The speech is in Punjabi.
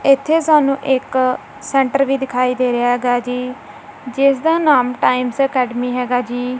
ਇਥੇ ਸਾਨੂੰ ਇੱਕ ਸੈਂਟਰ ਵੀ ਦਿਖਾਈ ਦੇ ਰਿਹਾ ਹੈਗਾ ਜੀ ਜਿਸ ਦਾ ਨਾਮ ਟਾਈਮਸ ਅਕੈਡਮੀ ਹੈਗਾ ਜੀ।